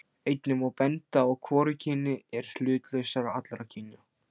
Einnig má benda á að hvorugkynið er hlutlausast allra kynja.